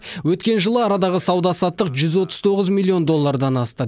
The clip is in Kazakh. өткен жылы арадағы сауда саттық жүз отыз тоғыз миллион доллардан асты